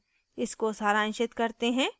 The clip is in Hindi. इसको सारांशित करते हैं